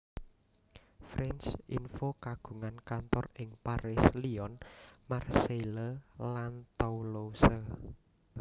France Info kagungan kantor ing Paris Lyon Marseille lan Toulouse